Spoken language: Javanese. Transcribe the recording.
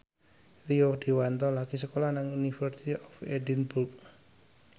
Rio Dewanto lagi sekolah nang University of Edinburgh